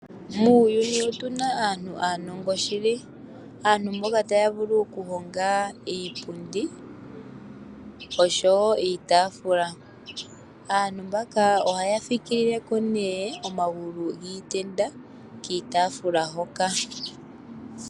Muuyuni otuna aantu aanongo shili, aantu mboka taya vulu oku honga iipundi, oshowo iitaafula, aantu mbaka ohaya fikilileko nee omagulu giitenda kiitaafula hoka.